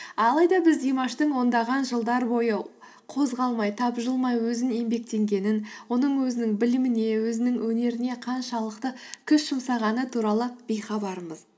алайда біз димаштың ондаған жылдар бойы қозғалмай табжылмай өзінің еңбектенгенін оның өзінің біліміне өзінің өнеріне қаншалықты күш жұмсағаны туралы бейхабармыз